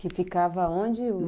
Que ficava onde?